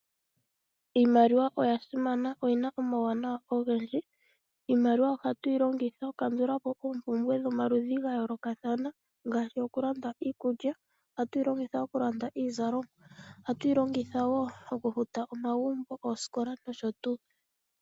Iinaliwa oya simana, oyina omawunawa ogendiji, iimaliwa ohatu yi longitha oku kandula po oompumbwe dhomaludhi ga yoolokathana ngaashi oku landa iikulya. Ohatu yi longitha wo okulanda iizalomwa, ohatu yi longitha wo okufuta omagumbo, oosikola nosho tuu.